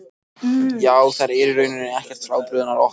Já, þær eru í rauninni ekkert frábrugðnar okkur.